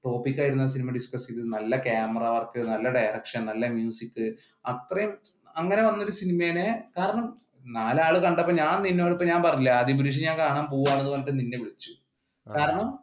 topic ആയിരുന്നു ആ cinema discuss ചെയ്തത് നല്ല ക്യാമറ വർക്ക്, നല്ല direction, നല്ല മ്യൂസിക് അത്രേം അങ്ങനെ വന്ന ഒരു സിനിമയിനെ കാരണം നാലാൾ കണ്ടപ്പോൾ ഞാൻ നിന്നോട് ഇപ്പ പറഞ്ഞില്ലെ, ആദിപുരുഷ് ഞാൻ കാണുവാ പോവുവാണ് എന്ന് പറഞ്ഞിട്ട് നിന്നെ വിളിച്ചു കാരണം